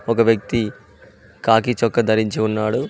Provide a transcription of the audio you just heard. ఒక వ్యక్తి కాకి చొక్క ధరించి ఉన్నాడు.